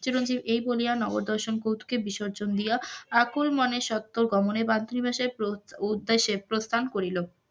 চিরঞ্জিব এই বলিয়া নগর দর্শন কে বিসর্জন দিয়া আপন মনে স্বতে গমনে মাতৃভাষায় উদ্দ্যেশ্যে প্রস্থান করিল,